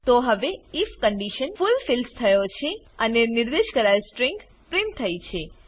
તો હવે if condition fulfils થયો છે અને નિર્દેશ કરાયેલ સ્ટ્રીંગ પ્રિન્ટ થઈ છે